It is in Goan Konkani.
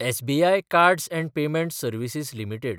SBI cards & payment services limited